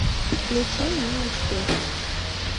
включи мне успех